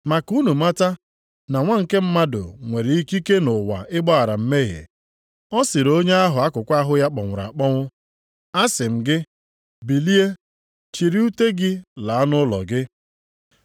Ma ka unu mata na Nwa nke Mmadụ nwere ikike nʼụwa ịgbaghara mmehie.” Ọ sịrị onye ahụ akụkụ ahụ ya kpọnwụrụ akpọnwụ, “Asị m gị, bilie, chịrị ute gị laa nʼụlọ gị!”